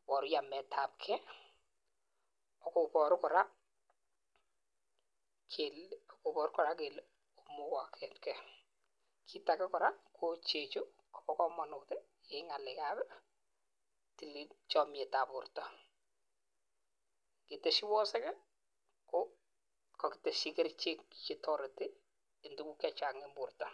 iboru yametabgee akoboru Koraa kele koboru Koraa kele imukoketgee. Kit ak Koraa ko chechuu Kobo komonut ti en ngale ab tilil chomietab borto. Keteshi wosiki kii ko kokiteshi kerichek chetoreti en tukuk che Chang en borto.